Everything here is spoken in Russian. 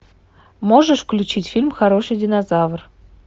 можешь включить фильм хороший динозавр